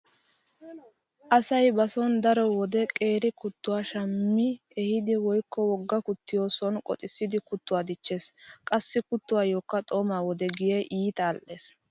Asay ba sooni daro wode qeeri kuttuwa shammi ehidi woykko wogha kuttiyo sooni qoxissidi kuttuwa dichchees. Qassi kuttoykka xooma wode giyan iita al"ees.